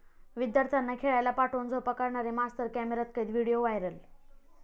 विद्यार्थ्यांना खेळायला पाठवून झोपा काढणारे मास्तर कॅमेऱ्यात कैद, व्हिडिओ व्हायरल!